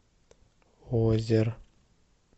озер